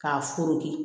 K'a